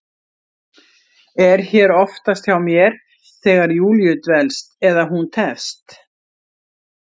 Er hér oftast hjá mér þegar Júlíu dvelst, eða hún tefst.